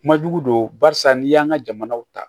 Kuma jugu don barisa n'i y'an ka jamanaw ta